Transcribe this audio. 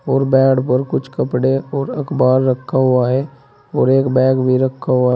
और बेड पर कुछ कपड़े और अखबार रखा हुआ है और एक बैग भी रखा हुआ--